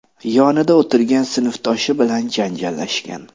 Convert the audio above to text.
yonida o‘tirgan sinfdoshi bilan janjallashgan.